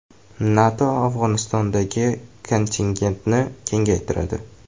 NATO Afg‘onistondagi kontingentini kengaytiradi.